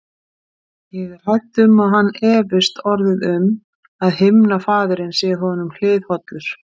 Ég er hrædd um að hann efist orðið um, að himnafaðirinn sé honum hliðhollur.